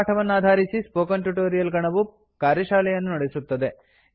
ಈ ಪಾಠವನ್ನಾಧಾರಿಸಿ spoken tutorial ಗಣವು ಕಾರ್ಯಶಾಲೆಯನ್ನು ನಡೆಸುತ್ತದೆ